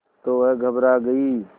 तो वह घबरा गई